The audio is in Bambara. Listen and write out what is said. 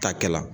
Ta kɛla